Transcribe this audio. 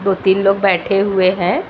दो-तीन लोग बैठे हुए हैं।